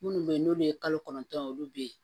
Minnu bɛ yen n'olu ye kalo kɔnɔntɔn olu bɛ yen